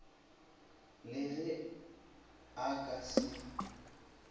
le ge o ka se